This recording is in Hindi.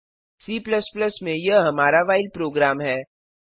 C में यह हमारा व्हाइल प्रोग्राम है